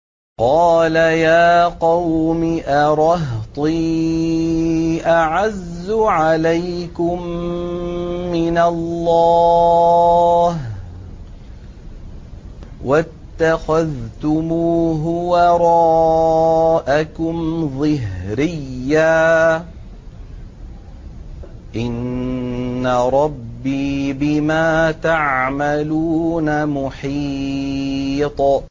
قَالَ يَا قَوْمِ أَرَهْطِي أَعَزُّ عَلَيْكُم مِّنَ اللَّهِ وَاتَّخَذْتُمُوهُ وَرَاءَكُمْ ظِهْرِيًّا ۖ إِنَّ رَبِّي بِمَا تَعْمَلُونَ مُحِيطٌ